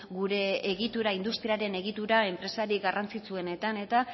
gure egitura industriaren egitura enpresarik garrantzitsuenetan eta